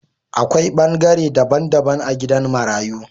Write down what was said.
A Kwai bangare dabban dabban a gidan marayu.